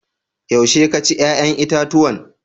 Yaushe ka ci yayan itatuwan?